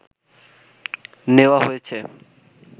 নেওয়া হয়েছে